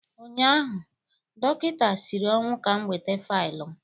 ụnyaahụ, dọkịta siri ọnwụ ka m weta faịlụ m.